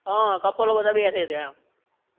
હઅ કપલો બધા બેસે ત્યાં એમ.